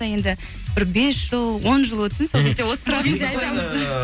енді бір бес жыл он жыл өтсін сол кезде осы сұрақты айтамыз